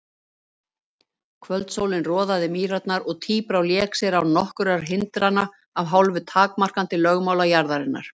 Kvöldsólin roðaði mýrarnar og tíbrá lék sér án nokkurra hindrana, að hálfu takmarkandi lögmála jarðarinnar.